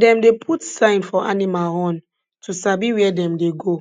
dem dey put sign for animal horn to sabi where dem dey go